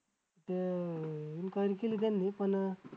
ते enquire केली त्यांनी पण